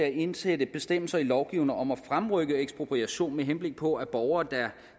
at indsætte bestemmelser i lovgivningen om at fremrykke ekspropriation med henblik på at borgere der er